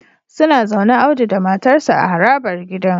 Suna zaune Audu da matarsa ​​a harabar gidan